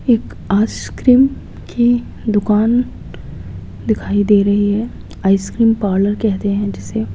एक आइसक्रीम की दुकान दिखाई दे रही है आइसक्रीम पार्लर कहते हैं जिसे।